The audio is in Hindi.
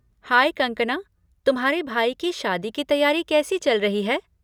हाय कनकना! तुम्हारे भाई की शादी की तैयारी कैसी चल रही है?